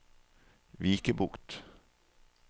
Vikebukt